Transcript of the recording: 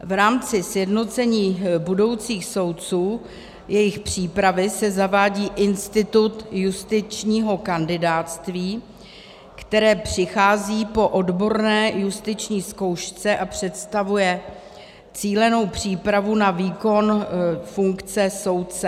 V rámci sjednocení budoucích soudců, jejich přípravy, se zavádí institut justičního kandidátství, které přichází po odborné justiční zkoušce a představuje cílenou přípravu na výkon funkce soudce.